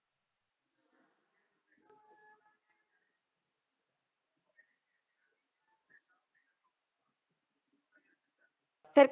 ਫਿਰ